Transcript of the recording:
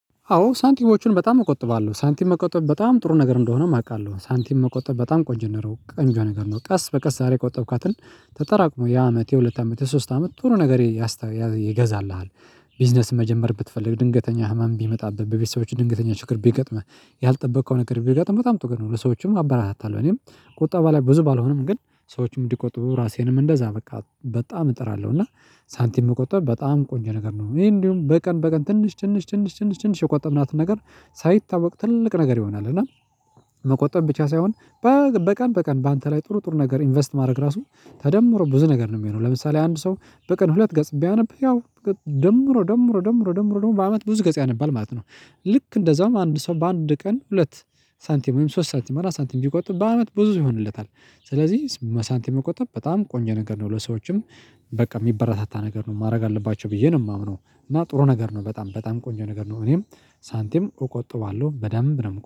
አዎ ሳንቲሞችን በጣም እቆጥባለሁ። ሳንቲም መቆጠብ በጣም ጥሩ ነገር እንደሆነም አውቃለሁ። ሳንቲም መቆጠብ በጣም ቆንጆ ነው ቀንጆ ነገር ነው። ቀስ በቀስ ዛሬ የቆጠብካትን ተጠራቅሞ የአመት የሁለት አመት ሶስት አመት ቶሎ ነገር ይገዛልሃል። ቢዝነስ መጀመር ብትፈልግ፤ ድንገተኛ ህመም ቢመጣብህ፤ በቤተሰቦችህ ድንገተኛ ችግር ቢገጥምህ፤ ያልጠበከውን ነገር ቢገጥመህ፤ በጣም ጥሩ ነው። ለሰዎችም አበራሳታለሁ እኔም ቁጠባ ላይ ብዙ ባልሆንም፤ ግን ሰዎችም እንዲቆጥቡ ራሴንም እንደዛ በቃ በጣም እጥራለሁ። እና ሳንቲም መቆጠብ በጣም ቆንጆ ነገር ነው። ይሄ እንዲሁም በቀን በቀን፤ ትንሽ ትንሽ፤ ትንሽ፤ ትንሽ፤ ትንሽ የቆጠብናትን ነገር ሳይታወቅ ትልቅ ነገር ይሆናል። እና መቆጠብ ብቻ ሳይሆን በቀን በቀን በአንተ ላይ ጥሩ ጥሩ ነገር ኢንቨስት ማድረግ ራሱ ተደምሮ ብዙ ነገር ነው የሚሆነው። ለምሳሌ አንድ ሰው በቀን ሁለት ገጽ ቢያነብ፤ ያው ደምሮ ደምሮ ደምሮ ደምሮ ደምሮ በአመት ብዙ ገጽ ያነባል ማለት ነው። ልክ እንደዛውም አንድ ሰው በአንድ ቀን ሁለት ሳንቲም፤ ወይም ሶስት ሳንቲም፤ አራት ሳንቲም፤ ቢቆጠብ በአመት ብዙ ይሆንለታል። ስለዚህ ሳንቲም መቆጠብ በጣም ቆንጆ ነገር ነው። ለሰዎችም በቃ የሚበራታታ ነገር ነው ማድረግ አለባቸው ብዬ ነው የማምነው። እና ጥሩ ነገር ነው በጣም በጣም ቆንጆ ነገር ነው እኔም ሳንቲም እቆጥባለሁ። በደንብ ነው